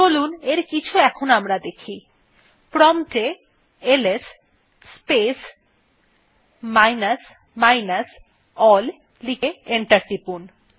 চলুন এর কিছু আমরা দেখি প্রম্পট এ LS space minus minus ALL লিখে এন্টার টিপুন